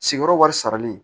Sigiyɔrɔ wɛrɛ saralen